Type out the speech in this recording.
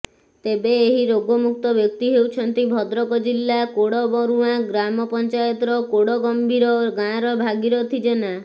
ତେବେ ଏହି ରୋଗମୁକ୍ତ ବ୍ୟକ୍ତି ହେଉଛନ୍ତି ଭଦ୍ରକ ଜିଲ୍ଲା କୋଡବରୁଆଁ ଗ୍ରାମପଞ୍ଚାୟତର କୋଡଗମ୍ଭୀର ଗାଁର ଭାଗିରଥି ଜେନା